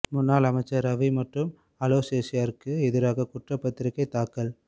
முன்னாள் அமைச்சர் ரவி மற்றும் அலோசியஸிற்கு எதிராக குற்றப் பத்திரிகை தாக்கல்